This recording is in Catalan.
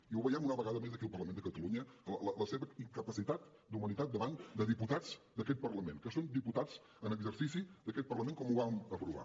i ho veiem una vegada més aquí al parlament de catalunya la seva incapacitat d’humanitat davant de diputats d’aquest parlament que són diputats en exercici d’aquest parlament com ho vam aprovar